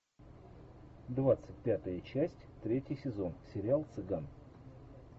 двадцать пятая часть третий сезон сериал цыган